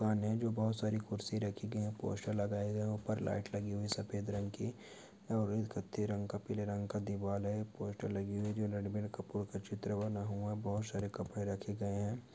सामने जो बोहत सारी कुर्सी रखी गयी है पोस्टर लगाये गये है ऊपर लाइट लगी हुई है सफेद रंग की और कत्थे रंग का पीले रंग का दीवाल हैं पोस्टर लगी हुए है जो रणवीर कपूर का चित्र बना हुआ है बहोत से कपड़े रखे गये है।